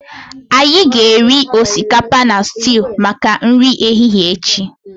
anyị ga-eri osikapa na stew maka nri ehihie echi